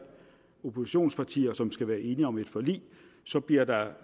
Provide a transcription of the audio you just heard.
oppositionspartier som skal være enige om et forlig så bliver der